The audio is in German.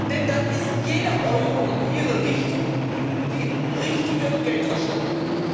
Denn dann ist jeder Euro in ihre Richtung richtige Geldverschwendung.